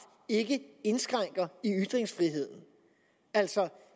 ikke indskrænker ytringsfriheden altså